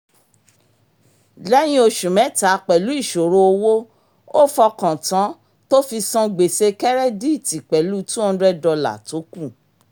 lẹ́yìn oṣù mẹ́ta pẹ̀lú ìṣòro owó ó fọkàn tán tó fi san gbèsè kẹ́rẹ́díìtì pẹ̀lú two hundred dollar tó kù